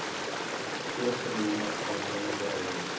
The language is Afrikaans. voorgenome aannemende ouers